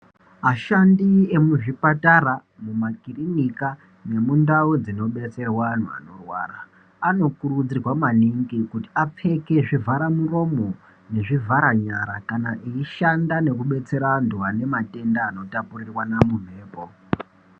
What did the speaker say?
Ashandi emuzvipatara mumakirinika nendau dzinobetserwe vantu vanorwara anokuridzirwa maningi kuti apfeke zvivharamuromo nezvivhara nyara kana echishanda nekubetsera antu anematenda anotapuriranwa mumhepo.